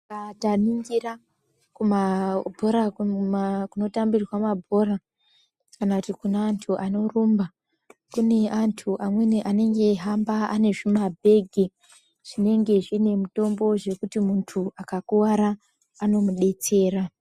Taningira kumabhora kunotambirwa mabhora kana kuti kune antu anorumba, kune antu amweni anenge eihamba ane zvimabhegi zvinenge zvine mutombo zvekuti muntu akakuwara anomudetsera.